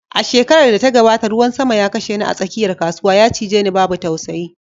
A shekarar da ta gabata, ruwan sama ya kashe ni a tsakiyar kasuwa, ya cije ni babu tausayi